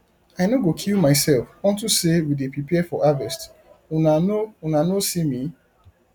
i no go kill myself unto say we dey prepare for harvest una no una no see me